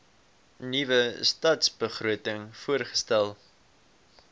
nuwe stadsbegroting voorgestel